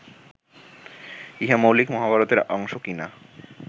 ইহা মৌলিক মহাভারতের অংশ কি না